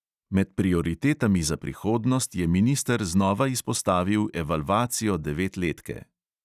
Med prioritetami za prihodnost je minister znova izpostavil evalvacijo devetletke.